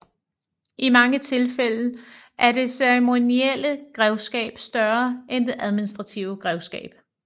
I mange tilfælde er det ceremonielle grevskab større end det administrative grevskab